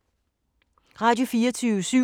Radio24syv